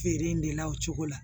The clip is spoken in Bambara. Feere in de la o cogo la